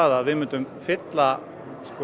að við myndum fylla